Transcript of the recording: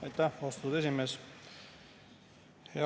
Aitäh, austatud esimees!